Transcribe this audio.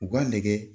U ka nɛgɛ